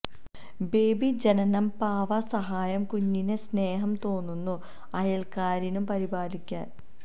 baby ജനനം പാവ സഹായം കുഞ്ഞിനെ സ്നേഹം തോന്നുന്നു അയൽക്കാരനു പരിപാലിക്കാൻ